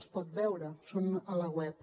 els pot veure són a la web